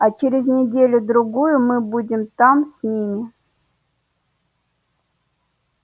а через неделю-другую мы будем там с ними